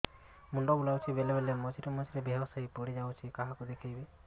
ମୁଣ୍ଡ ବୁଲାଉଛି ସବୁବେଳେ ମଝିରେ ମଝିରେ ବେହୋସ ହେଇ ପଡିଯାଉଛି କାହାକୁ ଦେଖେଇବି